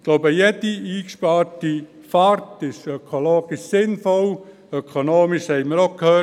Ich glaube, jede eingesparte Fahrt ist ökologisch sinnvoll, ökonomisch noch sinnvoller.